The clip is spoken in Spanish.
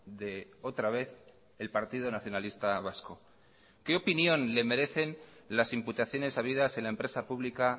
de otra vez el partido nacionalista vasco qué opinión le merecen las imputaciones habidas en la empresa pública